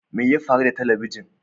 Me ya faru da talabijin?